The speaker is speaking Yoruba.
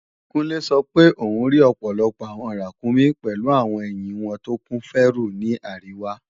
Kúnlé sọ pé òún rí ọ̀pọ̀lọpọ̀ àwọn ràkúnmí pèlu àwọn ẹ̀hìn wọn tó kún fẹ́rù ní àríwá